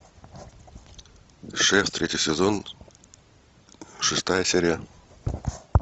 шеф третий сезон шестая серия